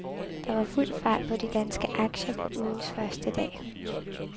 Der var fuld fart på de danske aktier på ugens første dag.